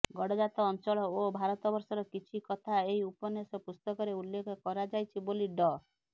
ଗଡ଼ଜାତ ଅଞ୍ଚଳ ଓ ଭାରତବର୍ଷର କିଛି କଥା ଏହି ଉପନ୍ୟାସ ପୁସ୍ତକରେ ଉଲ୍ଲେଖ କରାଯାଇଛି ବୋଲି ଡ